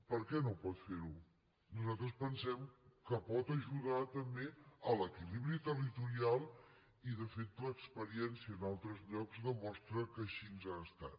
per què no ho pot fer nosaltres pensem que pot ajudar també a l’equilibri territorial i de fet l’experiència en altres llocs demostra que així ha estat